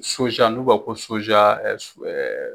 n'u b'a fɔ ko